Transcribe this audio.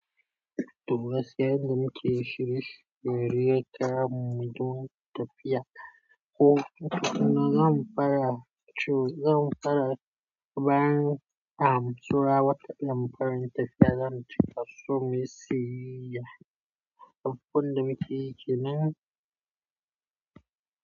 Toh gaskiya, zan miki shiri. Bari yaka muje tafiya. Ko kuma zan fara, ko zan fara bayan an tura waƙar in fara tafiya, zan cika su mai siyayya. Abun da mukeyi kenan.